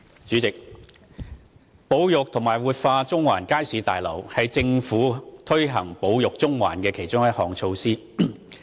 主席，保育和活化中環街市大樓是政府推行"保育中環"的其中一項措施。